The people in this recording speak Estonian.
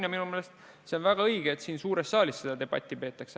Ja minu meelest see on väga õige, et siin suures saalis seda debatti peetakse.